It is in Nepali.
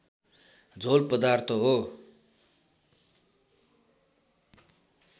झोल पदार्थ हो